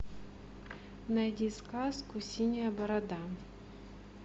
найди сказку синяя борода